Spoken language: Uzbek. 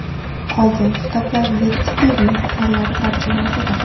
Qolgan kitoblar yetti pirning asarlari tarjimasidir.